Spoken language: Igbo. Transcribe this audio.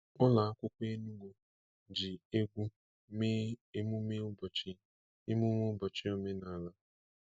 Ụlọ akwụkwọ Enugu ji egwu mee emume ụbọchị emume ụbọchị omenala.